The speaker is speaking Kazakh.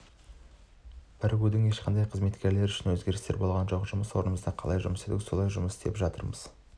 бірігудің ешқандай қызметкерлер үшін өзгерістері болған жоқ жұмыс орнымызда қалай жұмыс істедік солай жұмыс істеп жатырмыз